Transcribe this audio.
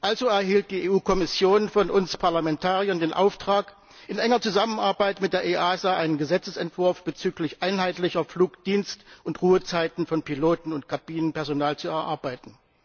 Also erhielt die EU Kommission von uns Parlamentariern den Auftrag, in enger Zusammenarbeit mit der EASA einen Gesetzesentwurf bezüglich einheitlicher Flugdienst und Ruhezeiten von Piloten und Kabinenpersonal zu erarbeiten.